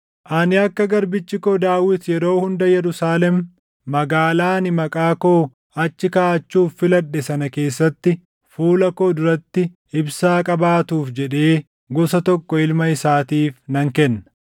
Ani akka garbichi koo Daawit yeroo hunda Yerusaalem magaalaa ani Maqaa koo achi kaaʼachuuf filadhe sana keessatti fuula koo duratti ibsaa qabaatuuf jedhee gosa tokko ilma isaatiif nan kenna.